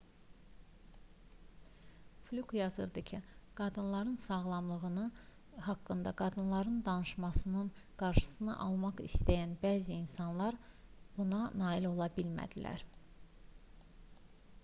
fluke yazırdı ki qadınların sağlamlığı haqqında qadınların danışmasının qarşısını almaq istəyən bəzi insanlar buna nail ola bilmədilər